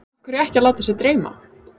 Af hverju ekki að láta sig dreyma?